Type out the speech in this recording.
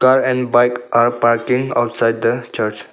Car and bike are parking outside the church.